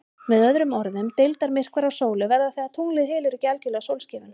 Með öðrum orðum, deildarmyrkvar á sólu verða þegar tunglið hylur ekki algjörlega sólskífuna.